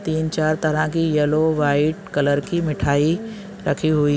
--तीन चार तरह की येलो व्हाइट कलर की मिठाई रखी हुई--